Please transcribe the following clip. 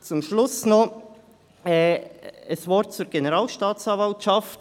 Zum Schluss noch ein Wort zur Generalstaatsanwaltschaft: